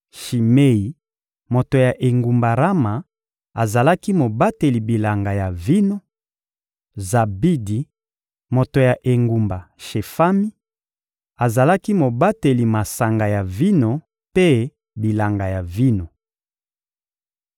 Shimei, moto ya engumba Rama, azalaki mobateli bilanga ya vino; Zabidi, moto ya engumba Shefami, azalaki mobateli masanga ya vino mpe bilanga ya vino.